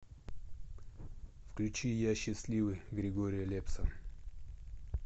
включи я счастливый григория лепса